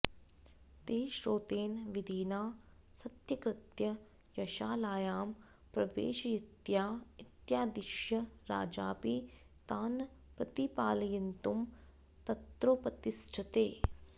ते श्रौतेन विधिना सत्कृत्य यशालायां प्रवेशयितव्या इत्यादिश्य राजापि तान् प्रतिपालयितुं तत्रोपतिष्ठते